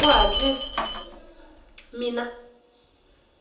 kutsi ahlale